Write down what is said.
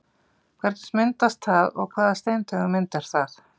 Hvernig myndast það og hvaða steintegund myndar það?